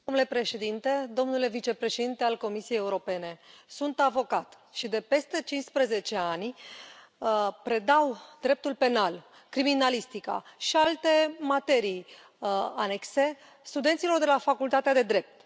Domnule președinte, domnule vicepreședinte al Comisiei Europene, sunt avocat și de peste 15 ani predau dreptul penal, criminalistica și alte materii anexe studenților de la facultatea de drept.